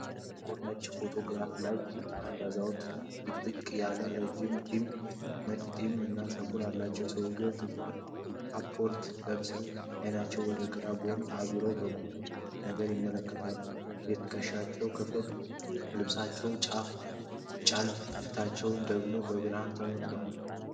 ጥቁርና ነጭ ፎቶግራፍ ላይ፣ አንድ አዛውንት ጥቅጥቅ ያለና ረጅም ነጭ ፂም እና ፀጉር አላቸው። ሰውየው ጥቁር ካፖርት ለብሰው፣ አይናቸውን ወደ ግራ ጎን አዙረው በቁምነገር ይመለከታሉ። የትከሻቸው ክፍልና ልብሳቸው ጨልሞ፣ ፊታቸው ደግሞ በብርሃን ተመቷል።